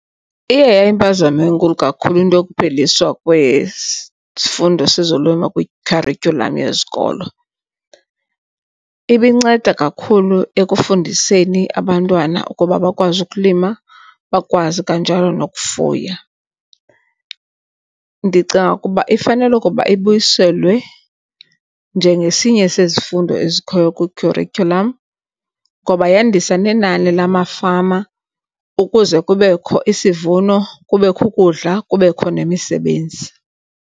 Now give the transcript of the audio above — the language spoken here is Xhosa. Iye yayimpazamo enkulu kakhulu into yokupheliswa kwesifundo sezolimo kwikharityhulam yezikolo. Ibinceda kakhulu ekufundiseni abantwana ukuba bakwazi ukulima, bakwazi kanjalo nokufuya. Ndicinga ukuba ifanele ukuba ibuyiselwe njengesinye sezifundo ezikhoyo kwikhurityhulam ngoba yandisa nenani lamafama ukuze kubekho isivuno, kubekho ukudla, kubekho nemisebenzi.